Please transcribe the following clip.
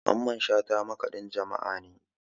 Mamman shata makaɗin jama'a ne